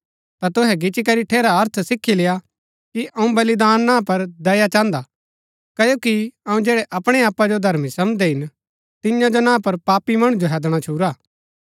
ता तुहै गिच्ची करी ठेरा अर्थ सीखी लेआ कि अऊँ बलिदान ना पर दया चाहन्दा क्ओकि अऊँ जैड़ै अपणै आपा जो धर्मी समझदै हिन तियां जो ना पर पापी मणु जो हैदणा छुरा